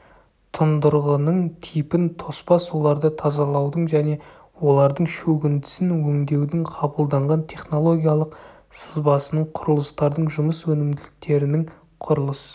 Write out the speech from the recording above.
тұндырғының типін тоспа суларды тазалаудың және олардың шөгіндісін өңдеудің қабылданған технологиялық сызбасының құрылыстардың жұмыс өнімділіктерінің құрылыс